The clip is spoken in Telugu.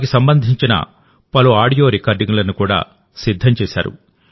వాటికి సంబంధించిన పలు ఆడియో రికార్డింగ్లను కూడా సిద్ధం చేశారు